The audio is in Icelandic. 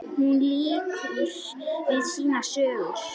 Hún lýkur við sínar sögur.